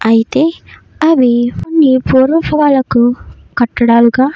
అయితే అవి కొన్ని పూర్వపు కట్టడాలుగా --